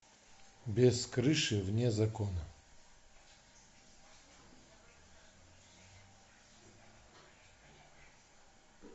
без крыши вне закона